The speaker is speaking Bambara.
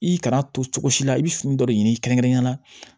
I kana to cogo si la i bɛ fini dɔ de ɲini kɛrɛnkɛrɛnnenya la